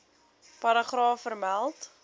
paragraaf vermeld